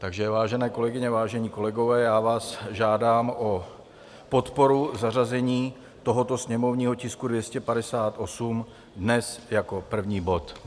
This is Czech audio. Takže vážené kolegyně, vážení kolegové, já vás žádám o podporu zařazení tohoto sněmovního tisku 258, dnes jako první bod.